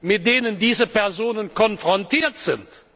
mit denen diese Personen konfrontiert sind.